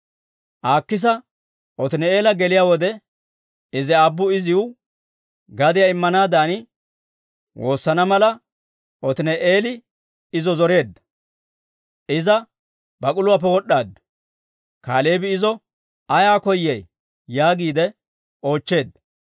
Aakisa Otini'eela geliyaa wode, Izi aabbu iziw gadiyaa immanaadan woosana mala Otini'eeli izo zoreedda. Iza bak'uluwaappe wod'd'aaddu; Kaaleebi izo, «Ayaa koyay?» yaagiide oochcheedda.